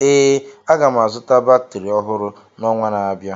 Ee, aga m azụta batrị ọhụrụ n'ọnwa na-abịa